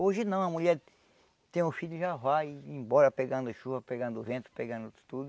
Hoje não, a mulher tem um filho e já vai embora pegando chuva, pegando vento, pegando tudo.